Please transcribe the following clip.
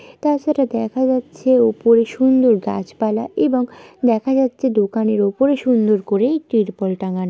তাছাড়া দেখা যাচ্ছে ওপরে সুন্দর গাছপালা এবং দেখা যাচ্ছে দোকানের ওপরে সুন্দর করে ত্রিপল টাঙানো।